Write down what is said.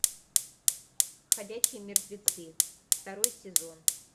ходячие мертвецы второй сезон